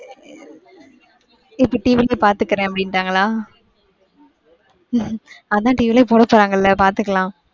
இப்ப TV லையே பாத்துக்குறேன் அப்படிங்ன்டாங்களா. அதான் TV லையே போடப்போறாங்க பாத்துக்கலாம்.